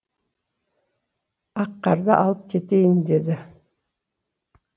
аққарды алып кетейін деді